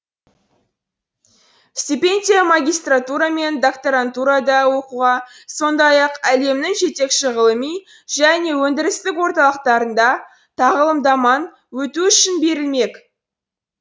стипендия магистратура мен докторантурада оқуға сондай ақ әлемнің жетекші ғылыми және өндірістік орталықтарында тағылымдаман өту үшін берілмек